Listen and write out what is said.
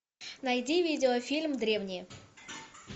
найди видеофильм древние